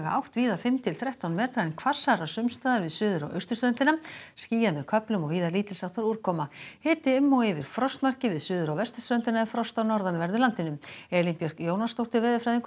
átt víða fimm til þrettán metra en hvassara sums staðar við suður og austurströndina skýjað með köflum og víða lítils háttar úrkoma hiti um og yfir frostmarki við suður og vesturströndina en frost á norðanverðu landinu Elín Björk Jónasdóttir veðurfræðingur